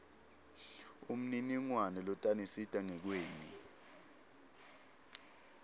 umniningwane lotanisita ngekweni